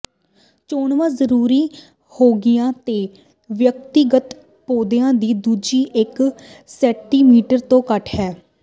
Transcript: ਚੋਣਵਾਂ ਜ਼ਰੂਰੀ ਹੋਣਗੀਆਂ ਜੇ ਵਿਅਕਤੀਗਤ ਪੌਦਿਆਂ ਦੀ ਦੂਰੀ ਇਕ ਸੈਂਟੀਮੀਟਰ ਤੋਂ ਘੱਟ ਹੈ